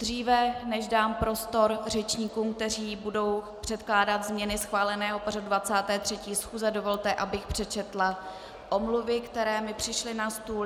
Dříve než dám prostor řečníkům, kteří budou předkládat změny schváleného pořadu 23. schůze, dovolte, abych přečetla omluvy, které mi přišly na stůl.